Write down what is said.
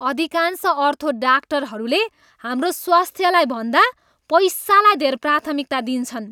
अधिकांश अर्थो डाक्टरहरूले हाम्रो स्वास्थ्यभन्दा पैसालाई धेर प्राथमिकता दिन्छन्।